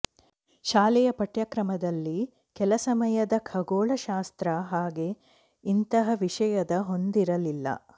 ಶಾಲೆಯ ಪಠ್ಯಕ್ರಮದಲ್ಲಿ ಕೆಲ ಸಮಯದ ಖಗೋಳಶಾಸ್ತ್ರ ಹಾಗೆ ಇಂತಹ ವಿಷಯದ ಹೊಂದಿರಲಿಲ್ಲ